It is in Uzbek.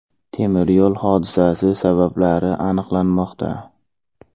Temiryo‘l hodisasi sabablari aniqlanmoqda.